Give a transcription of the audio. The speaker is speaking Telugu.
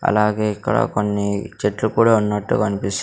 అలాగే ఇక్కడ కొన్ని చెట్లు కూడా ఉన్నట్టు కనిపిస్ --